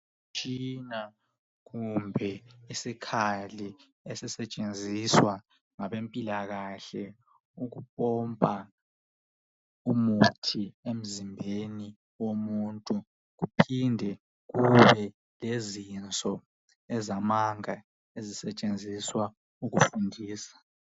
Umtshina kumbe isikhali esisetshenziswa ngabempilakahle ukupompa umuthi emzinbeni womuntu. Kuphinde kube lezinso ezamanga ezisetshenziswa ukufundisa.